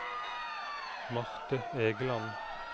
Marthe Egeland